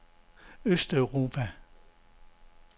østeuropa